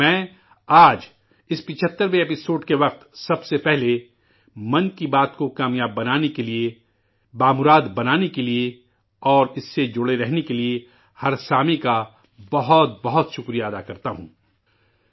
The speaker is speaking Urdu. میں آج، اس 75ویں قسط کے موقع پر سب سے پہلے 'من کی بات' کو کامیاب بنانے کے لیے، خوشگوار بنانے کے لیے اور اس سے جڑے رہنے کے لیے ہر سامع کا بہت بہت شکر گزار ہوں،